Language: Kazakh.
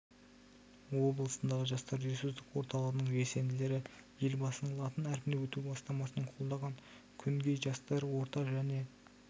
облысындағы жастар ресурстық орталығының белсенділері елбасының латын әрпіне өту бастамасын қолдаған күнгей жастары орта және